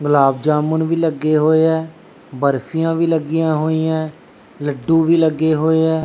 ਗੁਲਾਬ ਜਾਮੁਨ ਵੀ ਲੱਗੇ ਹੋਏ ਐ ਬਰਫੀਆਂ ਵੀ ਲੱਗੀਆਂ ਹੋਈਆਂ ਲੱਡੂ ਵੀ ਲੱਗੇ ਹੋਏ ਐ।